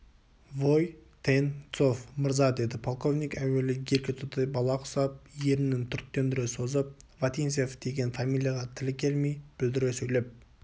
вой-тен-цов мырза деді полковник әуелі еркетотай бала құсап ернін түріктендіре созып вотинцев деген фамилияға тілі келмей бүлдіре сөйлеп